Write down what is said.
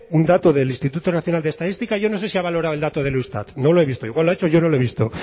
un dato del instituto nacional de estadística y yo no sé si ha valorado el dato del eustat no lo he visto igual lo ha hecho y yo no lo he visto